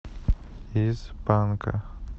из панка